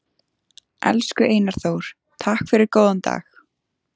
Elsku Einar Þór, takk fyrir góðan dag.